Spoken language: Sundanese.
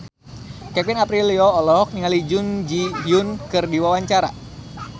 Kevin Aprilio olohok ningali Jun Ji Hyun keur diwawancara